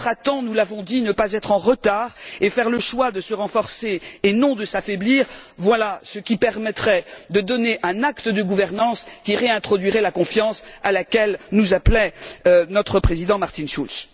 Intervenir à temps nous l'avons dit ne pas être en retard et faire le choix de se renforcer et non de s'affaiblir, voilà ce qui permettrait de donner un acte de gouvernance qui réintroduirait la confiance à laquelle nous appelait notre président Martin Schultz.